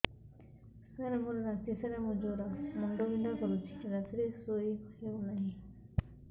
ସାର ମୋର ରାତି ସାରା ଜ୍ଵର ମୁଣ୍ଡ ବିନ୍ଧା କରୁଛି ରାତିରେ ଶୋଇ ହେଉ ନାହିଁ